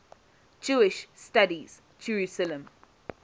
jewish studies jerusalem